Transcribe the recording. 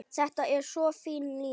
Þetta er svo fín lína.